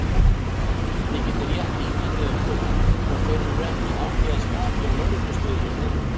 Þið getið rétt ímyndað ykkur hvort þeir eru ekki í hátíðarskapi á lögreglustöðinni núna!